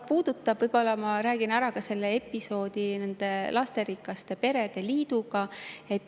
Aga ma räägin ära ka episoodi, mis on seotud lasterikaste perede liiduga.